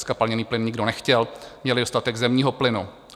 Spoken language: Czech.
Zkapalněný plyn nikdo nechtěl, měli dostatek zemního plynu.